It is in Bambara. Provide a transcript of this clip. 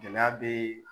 Gɛlɛya be